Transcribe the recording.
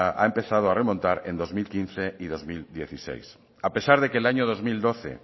ha comenzado a remontar en dos mil quince y dos mil dieciséis a pesar de que el año dos mil doce